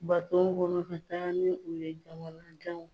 Baton kɔnɔ taa ni u ye jamana janw